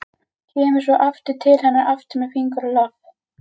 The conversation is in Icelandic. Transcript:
Kemur svo til hennar aftur með fingur á lofti.